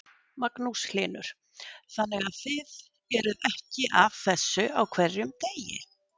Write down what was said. Magnús Hlynur: þannig að þið eruð ekki að þessu á hverjum degi?